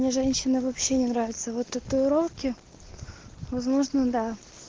мне женщина вообще не нравится вот татуировки возможно да